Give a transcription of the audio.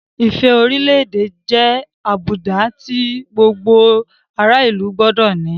Ìfẹ́ orílẹ̀-èdè ẹni jẹ́ àbùdá tí gbogbo ará-ìlú gbọdọ̀ ní.